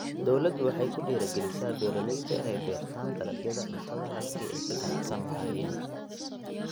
Dawladdu waxay ku dhiirigelisaa beeralayda inay beertaan dalagyada cuntada halkii ay ka ganacsan lahaayeen.